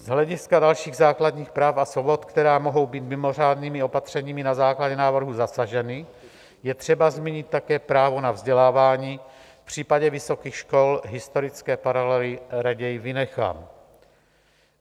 Z hlediska dalších základních práv a svobod, které mohou být mimořádnými opatřeními na základě návrhu zasaženy, je třeba zmínit také právo na vzdělávání, v případě vysokých škol historické paralely raději vynechám.